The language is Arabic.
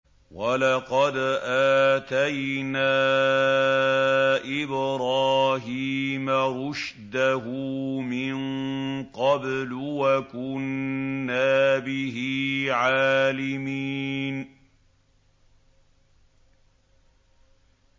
۞ وَلَقَدْ آتَيْنَا إِبْرَاهِيمَ رُشْدَهُ مِن قَبْلُ وَكُنَّا بِهِ عَالِمِينَ